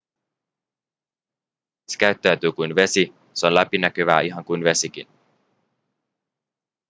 se käyttäytyy kuin vesi se on läpinäkyvää ihan niin kuin vesikin